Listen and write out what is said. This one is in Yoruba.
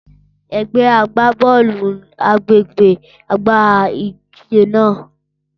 Ẹgbẹ agbabọọlu agbegbe gba idije naa.